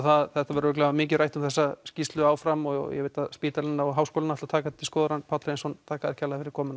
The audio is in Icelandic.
það það verður örugglega mikið rætt um þessa skýrslu áfram og ég veit að spítalinn og háskólinn ætla að taka þetta til skoðunar en Páll Hreinsson þakka þér kærlega fyrir komuna